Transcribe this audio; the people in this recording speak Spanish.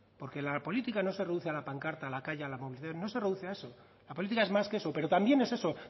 porque la política no se reduce a la pancarta a la calle a la movilización no se reduce a eso la política es más que eso pero también es eso